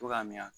Cogoya min na